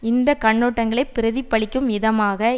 இந்த கண்ணோட்டங்களை பிரதிபலிக்கும் விதமாக